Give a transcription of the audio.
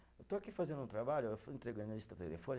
Eu estou aqui fazendo um trabalho, eu fui entregando a lista